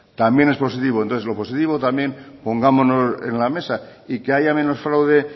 también es positivo entonces lo positivo también pongámonos en la mesa y que haya menos fraude